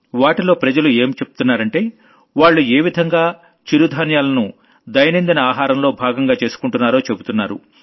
వాటిలో జనం ఏం చెబుతున్నారంటే వాళ్లు ఏ విధంగా మిల్లెట్స్ ని దైనందిన ఆహారంలో భాగంగా స్వీకరిస్తున్నారో చెబుతున్నారు